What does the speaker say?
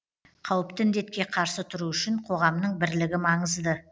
қауіпті індетке қарсы тұру үшін қоғамның бірлігі маңызды